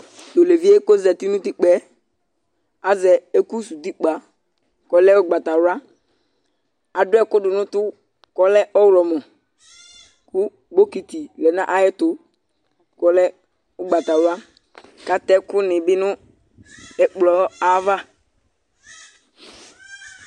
Tʋ olevi yɛ kʋ ɔzati nʋ utikpǝ yɛ azɛ ɛkʋsuwu utikpǝ kʋ ɔlɛ ʋgbatawla Adʋ ɛkʋ dʋ nʋ ʋtʋ kʋ ɔlɛ ɔɣlɔmɔ kʋ bɔkɩtɩ lɛ nʋ ayɛtʋ kʋ ɔlɛ ʋgbatawla kʋ atɛ ɛkʋnɩ bɩ nʋ ɛkplɔ ayava